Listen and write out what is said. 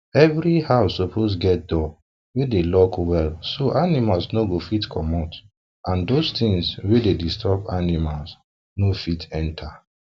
every house suppose get door wey dey lock well so animals no go fit commot and those tins wey dey disturb animals no fit enter